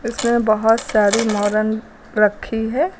इसमें बोहोत सारी मोरंग रखी हैं।